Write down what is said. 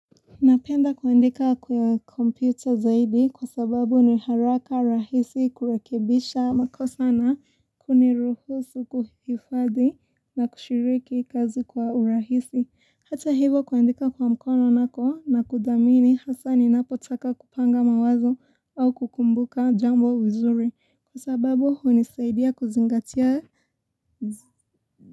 Napenda kuandika kwa kompyuta zaidi kwa sababu ni haraka rahisi kurekebisha makosa na kuniruhusu kuhifadhi na kushiriki kazi kwa urahisi. Hata hivyo kuandika kwa mkono nako nakudhamini hasaa ninapotaka kupanga mawazo au kukumbuka jambo vizuri, kwa sababu hunisaidia kuzingatia zi.